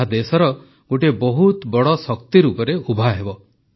ଏହା ଦେଶର ଗୋଟିଏ ବହୁତ ବଡ଼ ଶକ୍ତି ରୂପେ ଉଭାହେବ